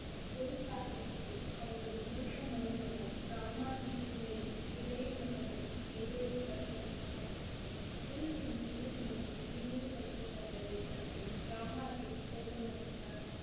குரு சாகிப் ஜி அவரது மூத்த மருமகன் ராமாஜி மேலும் இளைய மகனிடம் மேடையை கட்ட சொன்னார் குருஜி மீண்டும் மீண்டும் இழிவுபடுத்தபட்டதை கண்டு ராமாஜி கோபம் அடைந்தார்